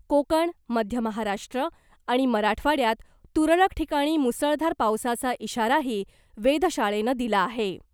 कोकण , मध्य महाराष्ट्र आणि मराठवाड्यात तुरळक ठिकाणी मुसळधार पावसाचा इशाराही वेधशाळेनं दिला आहे .